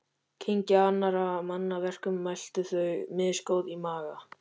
Kyngja annarra manna verkum og melta þau, misgóð í maga.